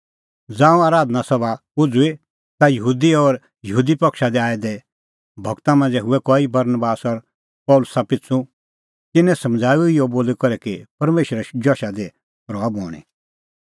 ज़ांऊं आराधना सभा उझ़ुई ता यहूदी और यहूदी पक्षा दी आऐ दै भगता मांझ़ै हुऐ कई बरनबास और पल़सी पिछ़ू तिन्नैं समझ़ाऊऐ इहअ बोली करै कि परमेशरे जशा दी रहा बणीं